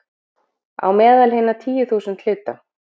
„á meðal hinna tíu þúsund hluta